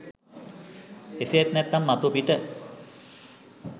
එසේත් නැත්නම් මතුපිට